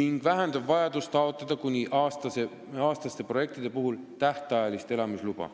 ning vähendab vajadust taotleda kuni aastaste projektide puhul tähtajalist elamisluba.